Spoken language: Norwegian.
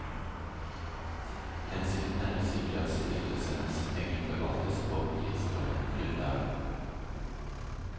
Hensikten er å sikre at stiftelsenes penger forvaltes på frittstående grunnlag.